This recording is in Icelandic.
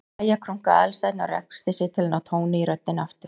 Jæja- krunkaði Aðalsteinn og ræskti sig til að ná tóni í röddina aftur.